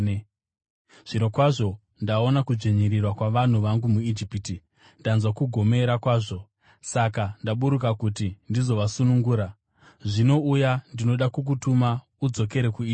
Zvirokwazvo ndaona kudzvinyirirwa kwavanhu vangu muIjipiti. Ndanzwa kugomera kwavo, saka ndaburuka kuti ndizovasunungura. Zvino uya, ndinoda kukutuma udzokere kuIjipiti.’